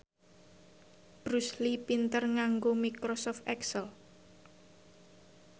Bruce Lee pinter nganggo microsoft excel